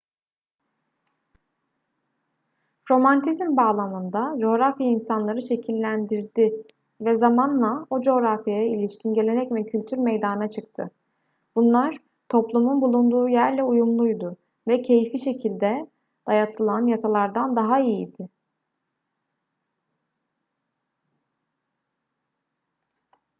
romantizm bağlamında coğrafya insanları şekillendirdi ve zamanla o coğrafyaya ilişkin gelenek ve kültür meydana çıktı bunlar toplumun bulunduğu yerle uyumluydu ve keyfi şekilde dayatılan yasalardan daha iyiydi